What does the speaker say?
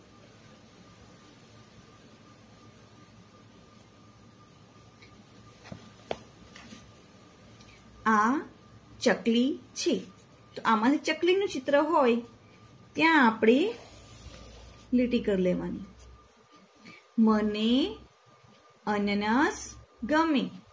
આ ચકલી છે તો આમાંથી ચકલીનું ચિત્ર હોય ત્યાં આપણે લીટી કર લેવાની મને અનનસ ગમે